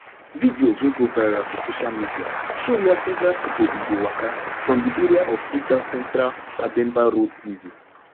videos wey go viral for social media show wia several pipo bin dey waka from di area of freetown central pademba road prison